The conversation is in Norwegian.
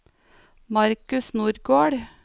Markus Nordgård